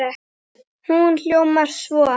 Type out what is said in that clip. Hún hljómar svo